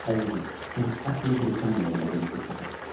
Əzizim, sən əsl Britaniyalıya dönüb getmisən.